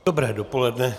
Dobré dopoledne.